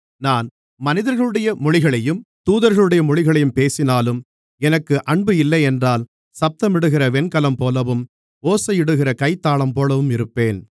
நான் மனிதர்களுடைய மொழிகளையும் தூதர்களுடைய மொழிகளையும் பேசினாலும் எனக்கு அன்பு இல்லையென்றால் சத்தமிடுகிற வெண்கலம்போலவும் ஓசையிடுகிற கைத்தாளம்போலவும் இருப்பேன்